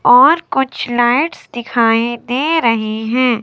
और कुछ लाइट्स दिखाई दे रही हैं।